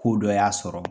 Ko dɔ y'a sɔrɔ